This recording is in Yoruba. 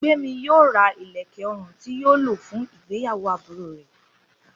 Gbémi yóò ra ìlẹ̀kẹ̀ ọrùn tí yóò lò fún ìgbéyàwó àbúrò rẹ̀